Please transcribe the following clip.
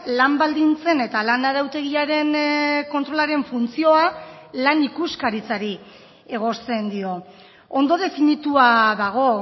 lan baldintzen eta lan arautegiaren kontrolaren funtzioa lan ikuskaritzari egozten dio ondo definitua dago